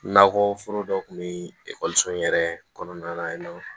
Nakɔ foro dɔ kun bɛ ekɔliso in yɛrɛ kɔnɔna na yen nɔ